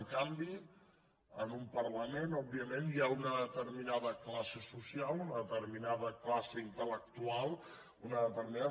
en canvi en un parlament òbviament hi ha una determinada classe social una determinada classe intel·lectual una determinada